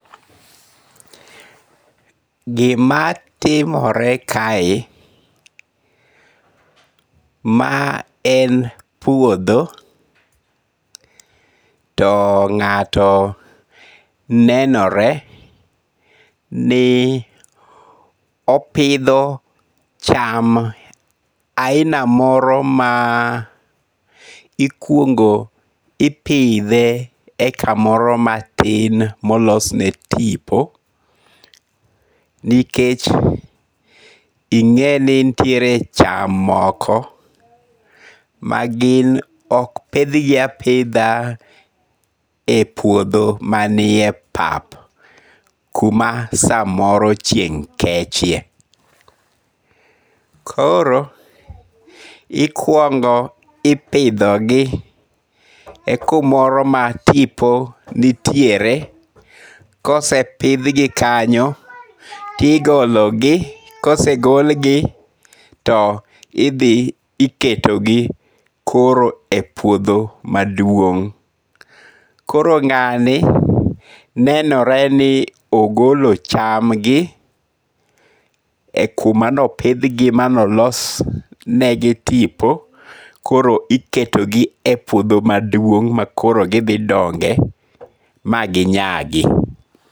Gimatimore kae, ma en puotho to nga'to nenore ni opitho cham aina moro ma ikuongo' ipithe e kamoro matin ma olosne tipo, nikech inge'ni nitiere cham moko ma gin ok pithgi apitha e puotho manie pap kuam samoro chieng' kechie, koro ikuongo' ipithogi kumoro ma tipo nitiere, kosepithgi kanyo tigologi, kosegolgi to ithi iketogi koro e puotho maduong', koro nga'ni nenore ni ogolo chamgi e kuma ne opithgie manlosnegi tipo, koro iketogie e puotho maduong' ma koro githi dongi'e maginyagi